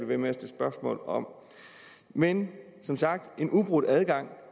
ved med at stille spørgsmål om men en ubrudt adgang